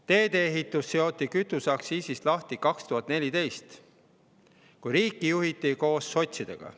Teedeehitus seoti kütuseaktsiisist lahti 2014, kui riiki juhiti koos sotsidega.